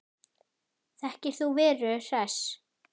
Þekkir þú Veru Hress?